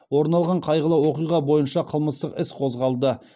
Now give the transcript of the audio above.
орын алған қайғылы оқиға бойынша қылмыстық іс қозғалды